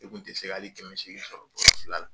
E kun tɛ se hali kɛmɛ seegi sɔrɔ